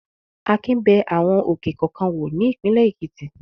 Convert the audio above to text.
Akin bẹ àwọn òkè kọ̀ọ̀kan wò ní ìpínlẹ̀ Èkìtì.